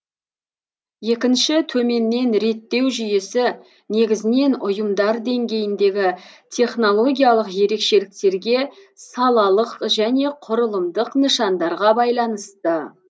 екінші төменнен реттеу жүйесі негізінен ұйымдар деңгейіндегі технологиялық ерекшеліктерге салалық және құрылымдық нышандарға байланысты